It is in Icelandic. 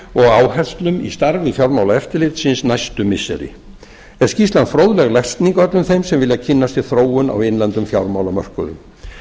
og áherslum í starfi fjármálaeftirlitsins næstu missiri er skýrslan fróðleg lesning öllum þeim sem vilja kynna sér þróun á innlendum fjármálamörkuðum